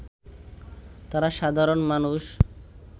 তারা সাধারণ মানুষ